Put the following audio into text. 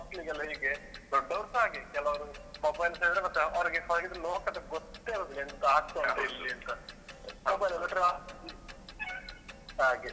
ಮಕ್ಕಳಿಗೆಲ್ಲಾ ಹೀಗೆ ದೊಡ್ಡವರುಸ ಹಾಗೆ ಕೆಲವ್ರು mobile ತೆಗ್ದ್ರೆ ಮತ್ತೆ ಹೊರಗಿದ್ ಹೊರಗಿದ್ ಲೋಕದ್ ಗೊತ್ತೇ ಆಗುದಿಲ್ಲ ಎಂತ ಆಗ್ತಾ ಉಂಟು ಇಲ್ಲಿ ಅಂತ. mobile ಹಾಗೆ